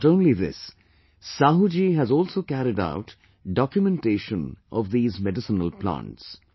Not only this, Sahu ji has also carried out documentation of these medicinal plants